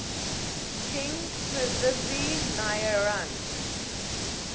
king prithvi narayan